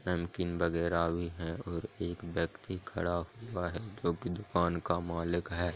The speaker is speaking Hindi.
नमकीन वगेरा है और एक वक्ती खड़ा हुआ है जोकि दुकान का मालिक है।